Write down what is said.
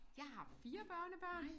Jeg har 4 børnebørn